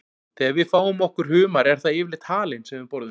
þegar við fáum okkur humar er það yfirleitt halinn sem við borðum